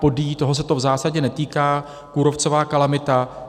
Podyjí, toho se to v zásadě netýká, kůrovcová kalamita.